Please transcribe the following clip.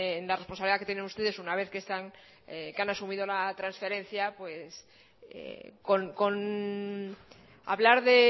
en la responsabilidad que tienen ustedes una vez que han asumido la transferencia pues con hablar de